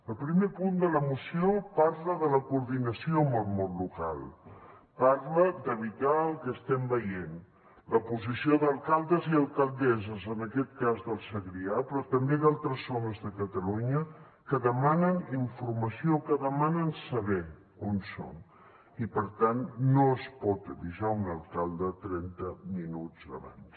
el primer punt de la moció parla de la coordinació amb el món local parla d’evitar el que estem veient la posició d’alcaldes i alcaldesses en aquest cas del segrià però també d’altres zones de catalunya que demanen informació que demanen saber on són i per tant no es pot avisar un alcalde trenta minuts abans